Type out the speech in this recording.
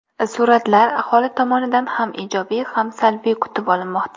Suratlar aholi tomonidan ham ijobiy, ham salbiy kutib olinmoqda.